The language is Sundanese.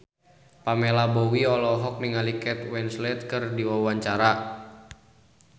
Pamela Bowie olohok ningali Kate Winslet keur diwawancara